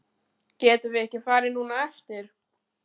Getum við ekki farið núna á eftir?